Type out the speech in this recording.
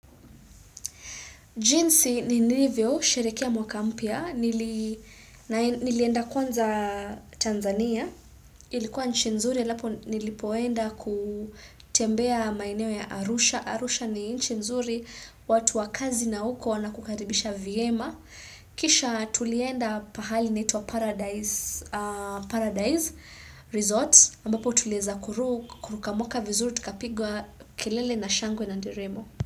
Jinsi nilivyo sherekia mwaka mpya, nilienda kwanza Tanzania, ilikuwa nchi nzuri alaf nilipoenda kutembea maeneo ya Arusha. Arusha ni nchi nzuri, watu wa kazi na uko wanakukaribisha vyema. Kisha tulienda pahali inatwa Paradise Resorts, ambapo tulieza kuruka mwaka vizuri, tukapigwa kelele na shangwe na nderemo.